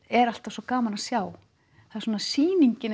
er alltaf svo gaman að sjá svona sýningin